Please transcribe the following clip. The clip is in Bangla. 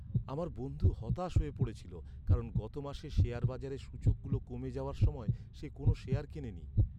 আমার বন্ধু হতাশ হয়ে পড়েছিল, কারণ গত মাসে শেয়ার বাজারের সূচকগুলো কমে যাওয়ার সময় সে কোনও শেয়ার কেনেনি।